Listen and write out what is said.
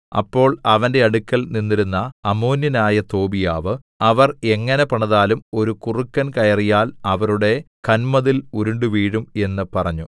അപ്പോൾ അവന്റെ അടുക്കൽ നിന്നിരുന്ന അമ്മോന്യനായ തോബീയാവ് അവർ എങ്ങനെ പണിതാലും ഒരു കുറുക്കൻ കയറിയാൽ അവരുടെ കന്മതിൽ ഉരുണ്ടുവീഴും എന്ന് പറഞ്ഞു